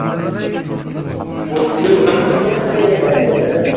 . ওই জন্য রেগে যায়